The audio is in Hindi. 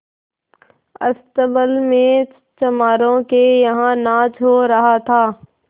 अस्तबल में चमारों के यहाँ नाच हो रहा था